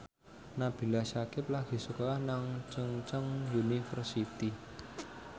Nabila Syakieb lagi sekolah nang Chungceong University